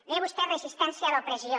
deia vostè resistència a l’opressió